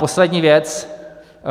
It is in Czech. Poslední věc.